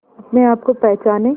अपने आप को पहचाने